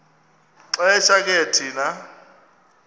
xesha ke thina